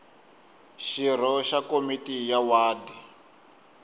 xirho xa komiti ya wadi